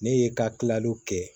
Ne ye ka kilaliw kɛ